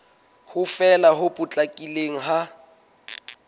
ho fela ho potlakileng ha